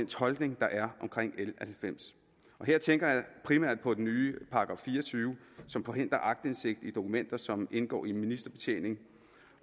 tolkning der er omkring l halvfems og her tænker jeg primært på den nye § fire og tyve som forhindrer aktindsigt i dokumenter som indgår i en ministerbetjening